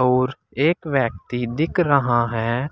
और एक व्यक्ति दिख रहा है।